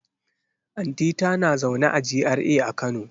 Anti ta na zaune a GRA a kano